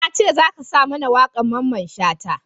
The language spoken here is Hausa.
Na ce za ka sa mana wakan Mamman Shata!